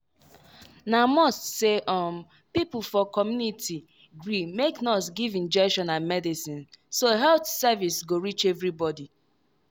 na must say um people for community gree make nurse give injection and medicine so health service go reach everybody.